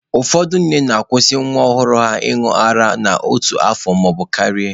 Ụfọdụ ndị nne na-akwusị nwa ọhụrụ ha ịñụ ara n'otu afọ maọbụ karịa.